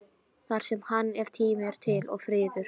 Þar semur hann ef tími er til og friður.